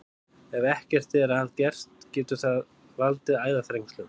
Ef ekkert er að gert getur það valdið æðaþrengslum.